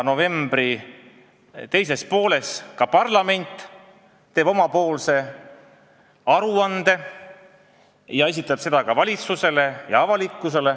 Novembri teises pooles parlament teeb omapoolse aruande ja esitleb seda ka valitsusele ja avalikkusele.